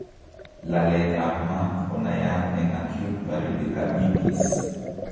Laleet ab maat konaiyat eng' acute pericarditis